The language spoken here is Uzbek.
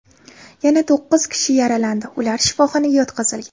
Yana to‘qqiz kishi yaralandi, ular shifoxonaga yotqizilgan.